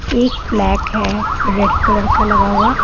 एक फ्लैक है रेड कलर का लगा हुआ --